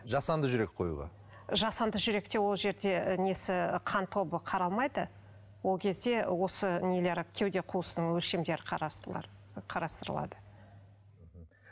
жасанды жүрек қоюға жасанды жүректе ол жерде несі қан тобы қаралмайды ол кезде осы нелері кеуде қуысының өлшемдері қарастырылады мхм